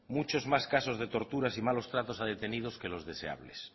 muchos más casos de torturas y malos tratos a detenidos que los deseables